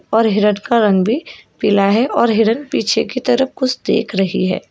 और हिरन का रंग भी पिला है और हिरन पीछे की तरफ कुछ देख रही है।